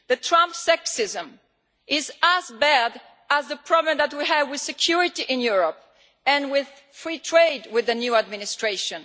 Trump's sexism is as bad as the problem that we have with security in Europe and with free trade with the new administration.